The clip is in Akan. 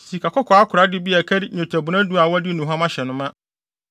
sikakɔkɔɔ akorade bi a ɛkari nnwetɛbona du a wɔde aduhuam ahyɛ no ma;